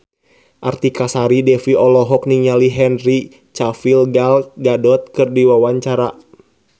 Artika Sari Devi olohok ningali Henry Cavill Gal Gadot keur diwawancara